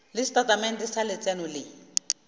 le setatamente sa letseno le